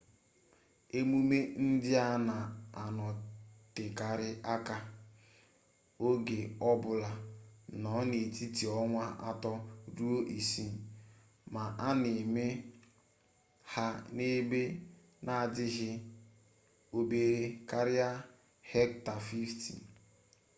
emume ndị a na-anọtekarị aka oge ọ bụla nọ n'etiti ọnwa atọ ruo isii ma a na-eme ha n'ebe na-adịghị obere karịa hekta 50